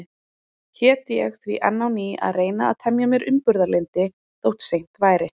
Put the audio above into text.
Hét ég því enn á ný að reyna að temja mér umburðarlyndi, þó seint væri.